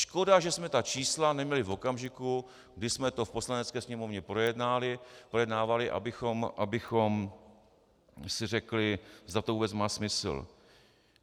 Škoda, že jsme ta čísla neměli v okamžiku, kdy jsme to v Poslanecké sněmovně projednávali, abychom si řekli, zda to vůbec má smysl.